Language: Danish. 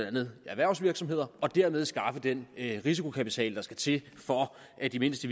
andet erhvervsvirksomheder og dermed skaffe den risikokapital der skal til for at de mindste